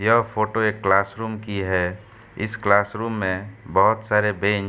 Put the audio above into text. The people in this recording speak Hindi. यह फोटो एक क्लासरूम की है। इस क्लासरूम में बहोत सारे बेंच --